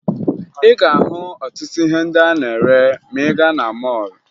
Ị ga-ahụ ọtụtụ ihe ndị a na-ere ma ị gaa na mọọlụ